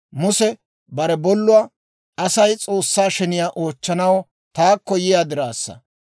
Muse bare bolluwaa, «Asay S'oossaa sheniyaa oochchanaw taakko yiyaa diraassa.